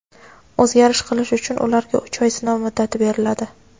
o‘zgarish qilish uchun ularga uch oy sinov muddati beriladi.